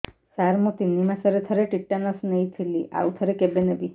ସାର ମୁଁ ତିନି ମାସରେ ଥରେ ଟିଟାନସ ନେଇଥିଲି ଆଉ ଥରେ କେବେ ନେବି